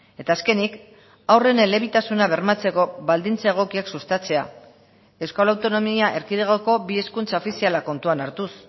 eta azkenik haurren elebitasuna bermatzeko baldintza egokiak sustatzea euskal autonomia erkidegoko bi hizkuntza ofizialak kontuan hartuz